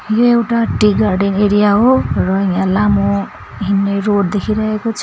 यो एउटा tea garden area हो र यहाँ लामो हिँड्ने रोड देखिरहेको छ।